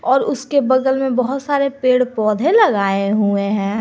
और उसके बगल में बहुत सारे पेड़ पौधे लगाए हुए हैं।